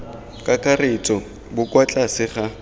kakaretso bo kwa tlase ga